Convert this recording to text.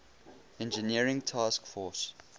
engineering task force